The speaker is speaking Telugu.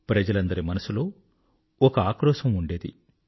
ప్రజలందరి మనసులో ఒక ఆక్రోశం ఉండింది